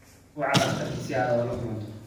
Wac dhakhtarka si aad ula kulanto